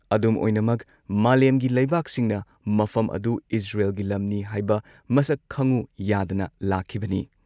ꯑꯗꯨꯝꯑꯣꯏꯅꯃꯛ, ꯃꯥꯂꯦꯝꯒꯤ ꯂꯩꯕꯥꯛꯁꯤꯡꯅ ꯃꯐꯝ ꯑꯗꯨ ꯏꯖꯔꯦꯜꯒꯤ ꯂꯝꯅꯤ ꯍꯥꯏꯕ ꯃꯁꯛ ꯈꯪꯉꯨ ꯌꯥꯗꯅ ꯂꯥꯛꯈꯤꯕꯅꯤ ꯫